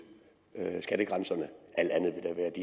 skattegrænserne alt andet